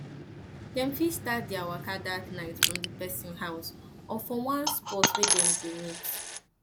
dem fit start dia waka dat nite from di pesin house or for or for one spot wey dem go meet